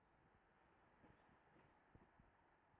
Af hverju svona oft?